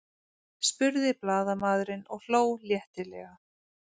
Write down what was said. spurði blaðamaðurinn og hló léttilega.